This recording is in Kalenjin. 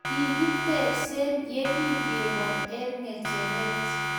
kikitebse ye kingebol eng ngecheret